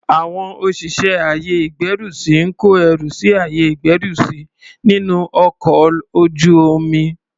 Àwọn òṣìṣẹ́ àyè ìgbẹ́rùsí ń kó ẹrù sí àyè ìgbẹ́rùsí nínú ọkọl ojú omi.